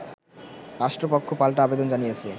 রাষ্ট্রপক্ষ পাল্টা আবেদন জানিয়েছে